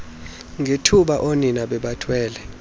ngethuba oonina bebathwele